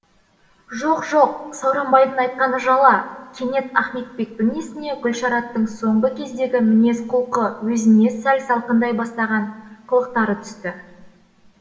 жоқ жоқ сауранбайдың айтқаны жала кенет ахметбектің есіне гүлшараттың соңғы кездегі мінез құлқы өзіне сәл салқындай бастаған қылықтары түсті